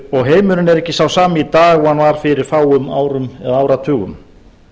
og heimurinn er ekki sá sami í dag og hann var fyrir fáum árum og áratugum